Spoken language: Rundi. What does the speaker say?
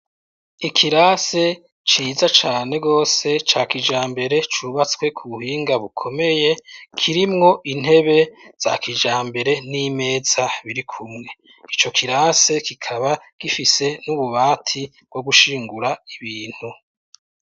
ikirase ciza cane gose ca kijambere cubatswe ku buhinga bukomeye, kirimwo intebe za kijambere n'imeza birikumwe, ico kirase kikaba gifise n'ububati bwo gushingura ibintu.